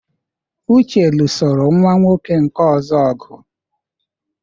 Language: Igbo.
Uche lụsoro nwa nwoke nke ọzọ ọgụ.